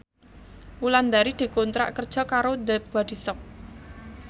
Wulandari dikontrak kerja karo The Body Shop